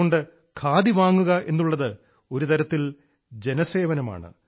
അതുകൊണ്ട് ഖാദി വാങ്ങുക എന്നുള്ളത് ഒരു തരത്തിൽ ജനസേവനമാണ്